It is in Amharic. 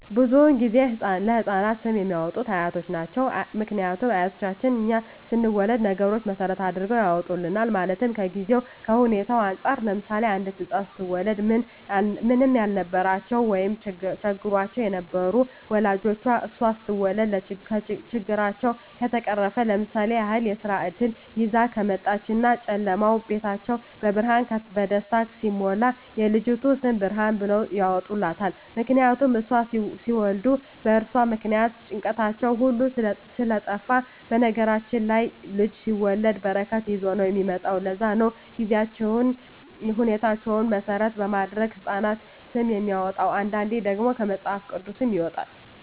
ብዙዉን ጊዜ ለህፃናት ስም የሚያወጡት አያት ናቸዉ ምክንያቱም አያቶቻችን እኛ ስንወለድ ነገሮች መሰረት አድርገዉ ያወጡልናል ማለትም ከጊዜዉ ከሁኔታዉ እንፃር ለምሳሌ አንዲት ህፃን ስትወለድ ምንም ያልነበራቸዉ ወይም ቸግሯቸዉ የነበሩ ወላጆቿ እሷ ስትወለድ ችግራቸዉ ከተፈቀረፈ ለምሳሌ ያክል የስራ እድል ይዛ ከመጣች እና ጨለማዉ ቤታቸዉ በብርሃን በደስታ ሲሞላ የልጅቱ ስም ብርሃን ብለዉ ያወጡላታል ምክንያቱም እሷን ሲወልዱ በእርሷ ምክንያት ጭንቀታቸዉ ሁሉ ስለጠፍ በነገራችን ላይ ልጅ ሲወለድ በረከት ይዞ ነዉ የሚመጣዉ ለዛ ነዉ ጊዜዎችን ሁኔታዎች መሰረት በማድረግ የህፃናት ስም የሚወጣዉ አንዳንዴ ደግሞ ከመፅሀፍ ቅዱስም ይወጣል